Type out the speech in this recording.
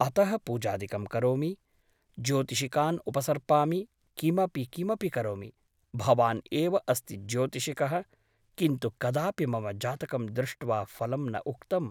अतः पूजादिकं करोमि , ज्योतिषिकान् उपसर्पामि किमपि किमपि करोमि । भवान् एव अस्ति ज्योतिषिकः । किन्तु कदापि मम जातकं दृष्ट्वा फलं न उक्तम् ।